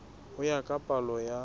ho ya ka palo ya